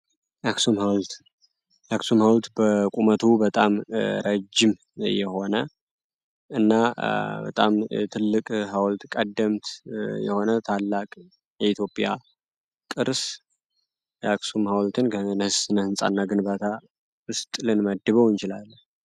ያክሱም ሀውልት በቁመቱ በጣም ረጅም የሆነ እና በጣም ትልቅ ሐወልት ቀደምት የሆነ ታላቅ የኢትዮጵያ ቅርስ የአክሱም ሐውልትን ኪነ ህንፃና ግንባታ ውስጥ ልንመድበው እንችላለ።